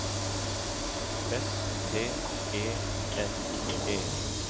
S T E N E